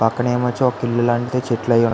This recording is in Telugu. పక్కన ఏమో ఒక ఇల్లు లాంటి చెట్లు --